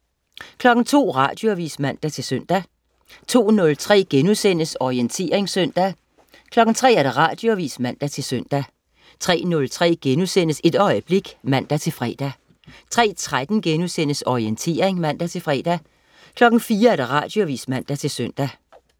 02.00 Radioavis (man-søn) 02.03 Orientering søndag* 03.00 Radioavis (man-søn) 03.03 Et øjeblik* (man-fre) 03.13 Orientering* (man-fre) 04.00 Radioavis (man-søn)